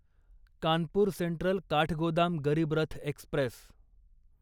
Kanpur central Kathgodam Garib Rath Express